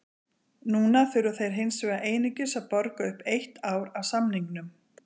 Núna þurfa þeir hins vegar einungis að borga upp eitt ár af samningnum.